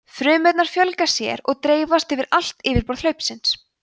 frumurnar fjölga sér og dreifast yfir allt yfirborð hlaupsins